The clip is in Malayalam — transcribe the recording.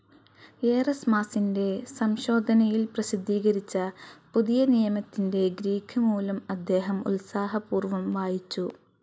ഏറസ്മാസിൻ്റെ സംശോധനയിൽ പ്രസിദ്ധീകരിച്ച പുതിയനിയമത്തിൻ്റെ ഗ്രീക്ക് മൂലം അദ്ദേഹം ഉത്സാഹപൂർവ്വം വായിച്ചു.